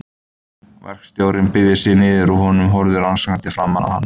Verkstjórinn beygði sig niður að honum og horfði rannsakandi framan í hann.